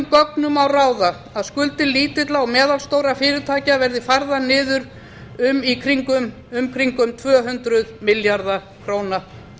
gögnum má ráða að skuldir lítilla og meðalstórra fyrirtækja verði færðar niður um í kringum tvö hundruð milljarða króna